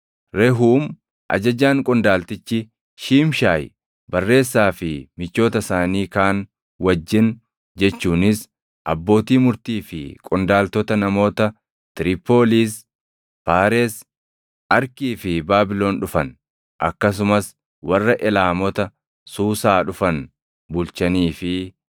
Rehuum ajajaan qondaaltichi, Shiimshaayi barreessaa fi michoota isaanii kaan wajjin jechuunis abbootii murtii fi qondaaltota namoota Tiripooliis, Faaresi, Arkii fi Baabilon dhufan, akkasumas warra Elaamota Suusaa dhufan bulchanii fi